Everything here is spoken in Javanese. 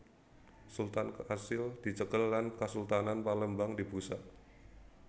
Sultan kasil dicekel lan Kasultanan Palembang dibusak